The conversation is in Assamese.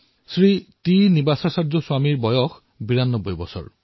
শ্ৰী টি শ্ৰীনিবাসাচাৰ্য স্বামীজীৰ বয়স ৯২ বছৰ